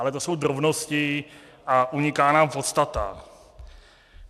Ale to jsou drobnosti a uniká nám podstata.